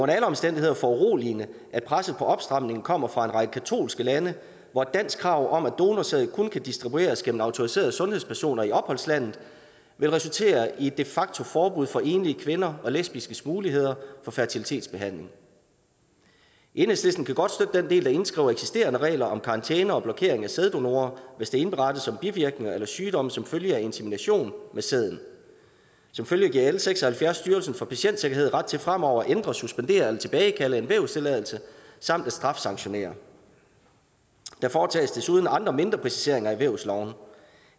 alle omstændigheder foruroligende at presset på opstramning kommer fra en række katolske lande hvor et dansk krav om at donorsæd kun kan distribueres gennem autoriserede sundhedspersoner i opholdslandet vil resultere i et de facto forbud for enlige kvinder og lesbiskes muligheder for fertilitetsbehandling enhedslisten kan godt støtte den del der indskriver eksisterende regler om karantæner og blokering af sæddonorer hvis der indberettes bivirkninger eller sygdom som følge af insemination med sæden som følge giver l seks og halvfjerds styrelsen for patientsikkerhed ret til fremover at ændre suspendere eller tilbagekalde en vævstilladelse samt at strafsanktionere der foretages desuden andre mindre præciseringer i vævsloven